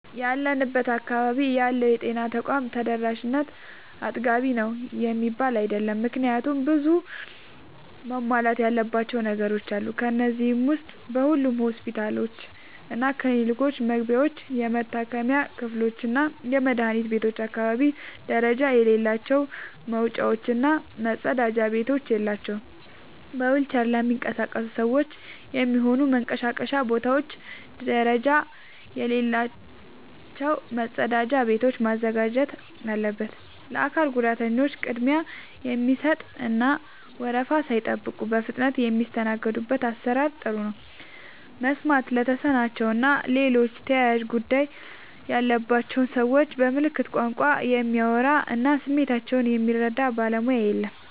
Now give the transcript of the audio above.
ያለንበት አካባቢ ያለው የጤና ተቋም ተደራሽነት አጥጋቢ ነው የሚባል አይደለም። ምክንያቱም ብዙ መሟላት ያለባቸው ነገሮች አሉ። ከነዚህ ዉስጥ በሁሉም ሆስፒታሎችና ክሊኒኮች መግቢያዎች፣ የመታከሚያ ክፍሎችና የመድኃኒት ቤቶች አካባቢ ደረጃ የሌላቸው መወጣጫዎች እና መጸዳጃ ቤቶች የላቸውም። በዊልቸር ለሚንቀሳቀሱ ሰዎች የሚሆኑ መንቀሳቀሻ ቦታዎች ደረጃ የሌላቸው መጸዳጃ ቤቶችን ማዘጋጀት አለበት። ለአካል ጉዳተኞች ቅድሚያ የሚሰጥ እና ወረፋ ሳይጠብቁ በፍጥነት የሚስተናገዱበት አሰራር ጥሩ ነው። መስማት ለተሳናቸው እና ሌሎች ተያያዥ ጉዳት ያለባቸውን ሰዎች በምልክት ቋንቋ የሚያወራ እና ስሜታቸውን የሚረዳ ባለሙያ የለም።